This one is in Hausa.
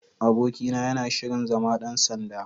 Abokina yana shirin zama ɗan sanda.